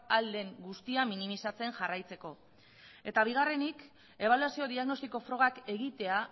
ahal den guztia minimizatzen jarraitzeko eta bigarrenik ebaluazio diagnostiko frogak egitea